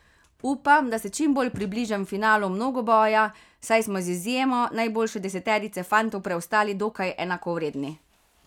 Upam, da se čim bolj približam finalu mnogoboja, saj smo z izjemo najboljše deseterice fantov preostali dokaj enakovredni.